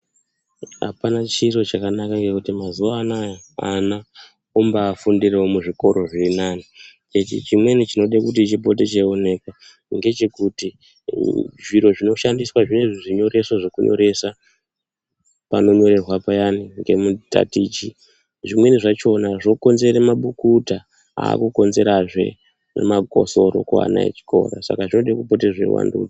Apana chiro chakanaka ngekuti mazuwanaya vana vombafundirewo muzvikora zvirinani, hechi chimweni chinode kuti chitopote cheioneka ngechekuti zviri zvinoshandiswa zvinezvi zvinyoreso zvekunyoreswa panonyorerwa payani ngemutatichi zvimweni zvachona zvokonzere mabukuta akukonzerahe magosoro kuana echikora saka zvode kupata zveivandudzwa.